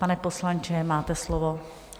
Pane poslanče, máte slovo.